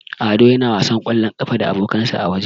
Ado yana wasan ƙwallon ƙafa da abokansa a waje.